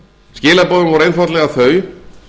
skilaboðin voru einfaldlega þau